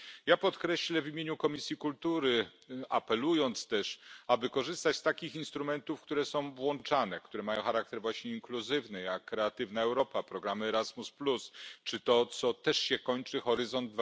Ja podkreślę też w imieniu Komisji Kultury apel, aby korzystać z takich instrumentów, które są włączane, które mają charakter właśnie inkluzywny, jak Kreatywna Europa, programy Erasmus, czy to, co też się kończy Horyzont